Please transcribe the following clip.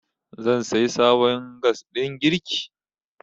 zan sayi sabon gas ɗin girki